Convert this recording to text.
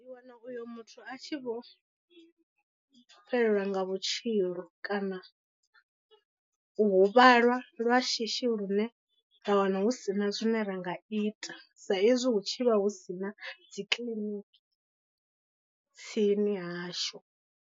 U wana uyo muthu a tshi vho fhelelwa nga vhutshilo kana u huvhala lwa shishi lune ra wana hu sina zwine ra nga ita sa izwi hu tshi vha hu si na dzi kiḽiniki tsini hashu.